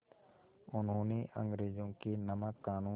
उन्होंने अंग्रेज़ों के नमक क़ानून